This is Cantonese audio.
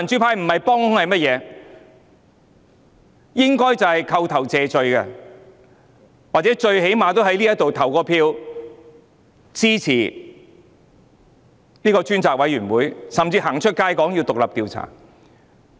他們應該要扣頭謝罪，或最低限度在這裏投票支持成立專責委員會，甚至走出街說要展開獨立調查。